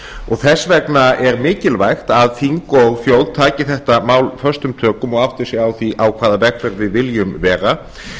og þess vegna er mikilvægt að þing og þjóð taki þetta mál föstum tökum og átti sig á því á hvaða vegferð við viljum vera